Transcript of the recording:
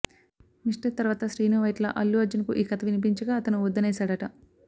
mister తర్వాత శ్రీను వైట్ల అల్లు అర్జున్ కు ఈ కథ వినిపించగా అతని వద్దనేశాడట